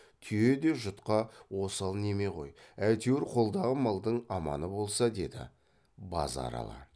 түйе де жұтқа осал неме ғой әйтеуір қолдағы малдың аманы болмас деді базаралы